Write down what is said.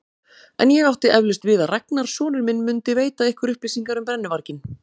En ég átti eflaust við að Ragnar sonur minn mundi veita ykkur upplýsingar um brennuvarginn.